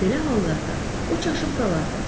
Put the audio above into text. Belə hallarda o çaşıb qalardı.